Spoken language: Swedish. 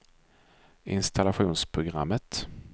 installationsprogrammet